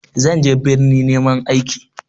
Zan je birni neman aiki.